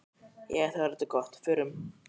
Jæja, þá er þetta orðið gott. Förum.